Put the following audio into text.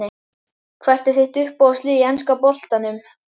Hvað er þitt uppáhalds lið í enska boltanum?